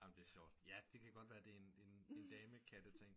Amen det er sjovt ja det kan godt være det er en dame katte ting